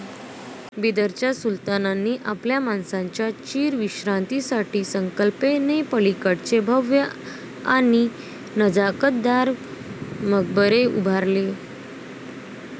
बिदरच्या सुलतानांनी आपल्या माणसांच्या चीरविश्रांतीसाठी कल्पनेपलीकडचे भव्य आणि नजाकतदार मकबरे उभारले.